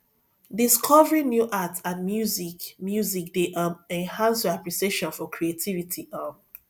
discovering new art and music music dey um enhance your appreciation for creativity um